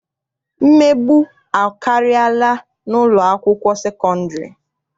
Mmegbu akarịala n'ụlọakwụkwọ sekọndịrị.